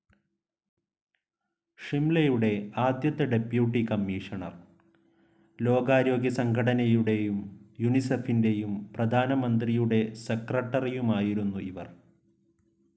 ഷിംലയുടെ ആദ്യത്തെ deputy commissioner, ലോകാരോഗ്യസംഘടനനയുടെയും യുനിസെഫിന്റെയും പ്രധാനമന്ത്രിയുടെ സെക്രട്ടറിയുമായിരുന്നു ഇവർ.